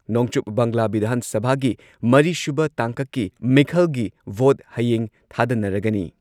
ꯅꯣꯡꯆꯨꯞ ꯕꯪꯒ꯭ꯂꯥ ꯚꯤꯙꯥꯟ ꯁꯚꯥꯒꯤ ꯃꯔꯤꯁꯨꯕ ꯇꯥꯡꯀꯛꯀꯤ ꯃꯤꯈꯜꯒꯤ ꯚꯣꯠ ꯍꯌꯦꯡ ꯊꯥꯗꯅꯔꯒꯅꯤ ꯫